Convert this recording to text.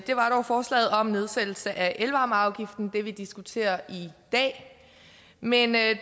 var dog forslaget om nedsættelse af elvarmeafgiften det vi diskuterer i dag men jeg